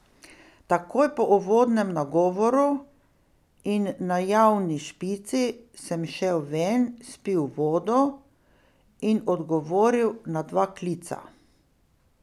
Takoj po uvodnem nagovoru in najavni špici sem šel ven, spil vodo in odgovoril na dva klica.